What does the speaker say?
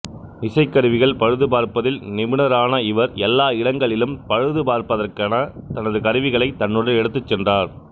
இசைக்கருவிகள் பழுதுபார்ப்பதில் நிபுணரான இவர் எல்லா இடங்களிலும் பழுதுபார்ப்பதற்கான தனது கருவிகளை தன்னுடன் எடுத்துச் சென்றார்